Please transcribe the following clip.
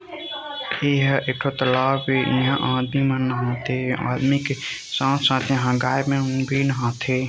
ईहा एक ठो तालाब ए आदमी मन नहा थे आदमी के साथ-साथ इहाँ गाय मन भी नहा थे।